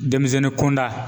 Denmisɛnnin kunda